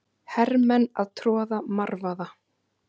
Hermenn að troða marvaða.